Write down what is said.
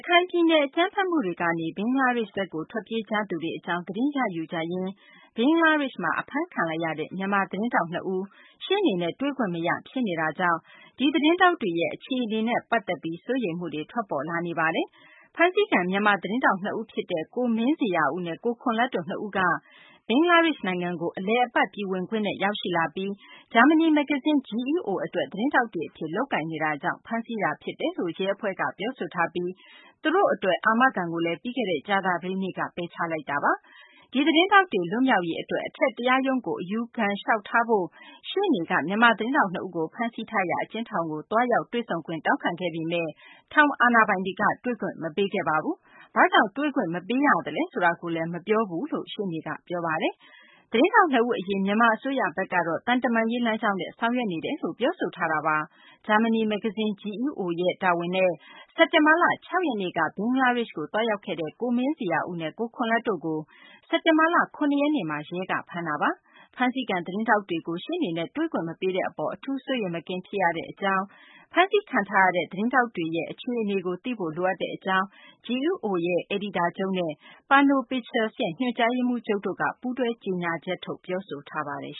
ခိုင်ပြည်နယ် အကြမ်းဖက်မှုတွေကနေ ဘင်္ဂလားဒေရှ့်ဘက်ကို ထွက်ပြေးကြသူတွေ အကြောင်း သတင်းရယူကြရင်း ဘင်္ဂလားဒေရှ့်မှာ ဖမ်းခံရတဲ့ မြန်မာ သတင်းထောက် နှစ်ဦး ရှေ့နေနဲ့ တွေ့ခွင့်မရ ဖြစ်နေတာကြောင့် ဒီသတင်းထောက်တွေရဲ့ အခြေအနေနဲ့ ပတ်သက်ပြီး စိုးရိမ်မှုတွေ ထွက်ပေါ်လာနေပါတယ်။ ဖမ်းဆီးခံ မြန်မာ သတင်းထောက် နှစ်ဦးဖြစ်တဲ့ ကိုမင်းဇေယျာဦးနဲ့ ကိုခွန်လတ်တို့ နှစ်ဦးက ဘင်္ဂလားဒေရှ့် နိုင်ငံကို အလည်အပတ် ပြည်ဝင်ခွင့်နဲ့ ရောက်ရှိလာပြီး ဂျာမနီ မဂ္ဂဇင်း GEO အတွက် သတင်းထောက်တွေအဖြစ် လုပ်ကိုင်နေတာကြောင့် ဖမ်းဆီးတာ ဖြစ်တယ်လို့ ရဲအဖွဲ့က ပြောဆိုထားပြီး သူတို့နှစ်ဦးအတွက် အာမခံကိုလည်း ပြီးခဲ့တဲ့ ကြာသပတေးနေ့က ပယ်ချထားတာပါ။ ဒီသတင်းထောက်တွေ လွတ်မြောက်ရေး အတွက် အထက် တရားရုံးကို အယူခံလျှောက်ထားဖို့ရှေ့နေ Jyotirmoy Barua က မြန်မာ သတင်းထောက်နှစ်ဦးကို ဖမ်းဆီးထားရာ အကျဉ်းထောင်ကို သွားရောက်ပြီး တွေ့ဆုံခွင့် တောင်းခံခဲ့ပေမယ့် ထောင်အာဏာပိုင်တွေက တွေ့ခွင် မပေးခဲ့ပါဘူး။ ဘာကြောင့် တွေ့ခွင့် မပေးရလဲ ဆိုတာကိုလည်း မပြောခဲ့ဘူးလို့ ရှေ့နေက ပြောပါတယ်။ သတင်းထောက် နှစ်ဦး အရေး မြန်မာ အစိုးရဘက်ကလည်း သံတမန်ရေး လမ်းကြောင်းနဲ့ ဆောင်ရွက်နေတယ်လို့ ပြောဆိုထားတာပါ။ ဂျာမနီ မဂ္ဂဇင်း GEO ရဲ့ တာဝန်နဲ့ စက်တင်ဘာလ ၆ ရက်နေ့က ဘင်္ဂလားဒေရှ့်ကို သွားရောက်ခဲ့တဲ့ ကိုမင်းဇေယျာဦးနဲ့ ကိုခွန်လတ်တို့ကို စက်တင်ဘာလ ၇ ရက်နေ့မှာ ရဲက ဖမ်းတာပါ။ ဖမ်းဆီးခံ သတင်းထောက်တွေကို ရှေ့နေနဲ့ တွေ့ခွင့် မပေးတဲ့ အပေါ် အထူး စိုးရိမ်မကင်း ဖြစ်ရကြောင်း၊ ဖမ်းဆီးခံရတဲ့ သတင်းထောက်တွေနဲ့ အခြေအနေကို သိဖို့ လိုအပ်ကြောင်း GEO ရဲ့ အယ်ဒီတာချုပ်နဲ့ Panos Pictures ရဲ့ ညွှန်ကြားရေးမှူးချုပ် Adrian Evans တို့က ပူးတွဲကြေညာချက်ထုတ် ပြောဆိုပါတယ်